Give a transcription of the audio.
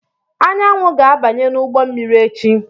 Anyanwụ ga-abanye n'ụgbọ mmiri echi.